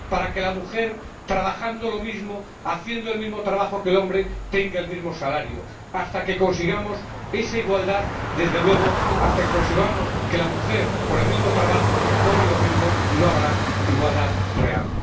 Para que la mujer, trabajando lo mismo, haciendo el mismo trabajo que el hombre, tenga el mismo salario. Hasta que consigamos esa igualdad, desde luego, hasta que consigamos que la mujer por el mismo trabajo cobre lo mismo, no habrá igualdad real.